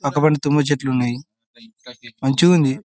పక్కపాటి తుమ్మ చేట్లు ఉన్నాయ్ మంచిగుంది.